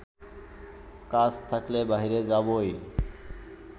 কাজ থাকলে বাইরে যাবই